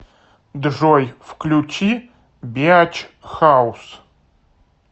джой включи беач хаус